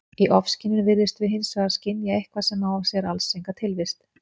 Í ofskynjun virðumst við hins vegar skynja eitthvað sem á sér alls enga tilvist.